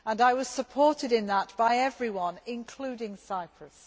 I was supported in that by everyone, including Cyprus.